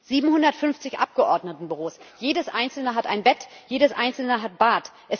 750 Abgeordnetenbüros, jedes einzelne hat ein Bett, jedes einzelne hat ein Bad.